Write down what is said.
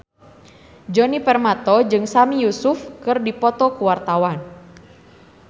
Djoni Permato jeung Sami Yusuf keur dipoto ku wartawan